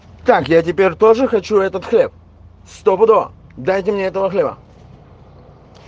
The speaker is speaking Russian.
так я теперь тоже хочу этот хлеб стопудово дайте мне этого хлеба